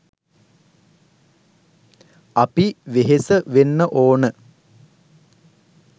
අපි වෙහෙස වෙන්න ඕන